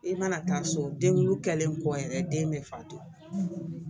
I mana taa so den kɔ yɛrɛ den bɛ fatɔ